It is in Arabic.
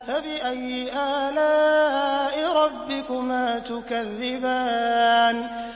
فَبِأَيِّ آلَاءِ رَبِّكُمَا تُكَذِّبَانِ